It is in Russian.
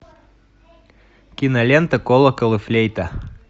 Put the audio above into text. кинолента колокол и флейта